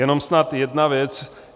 Jenom snad jedna věc.